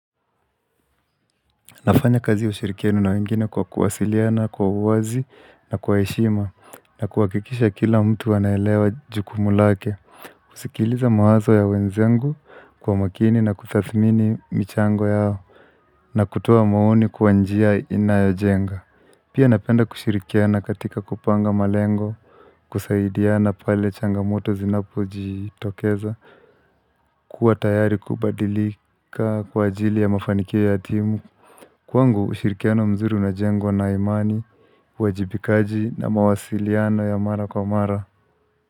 Nafanya kazi ushirikiano na wengine kwa kuwasiliana, kwa uwazi na kwa heshima na kuhakikisha kila mtu anaelewa jukumu lake kusikiliza mawazo ya wenzangu kwa makini na kutathimini michango yao na kutoa maoni kwa njia inayojenga Pia napenda kushirikiana katika kupanga malengo kusaidiana pale changamoto zinapo jitokeza kuwa tayari kubadilika kwa ajili ya mafanikio ya timu Kwangu ushirikiano mzuri unajengwa na imani, uwajibikaji na mawasiliano ya mara kwa mara.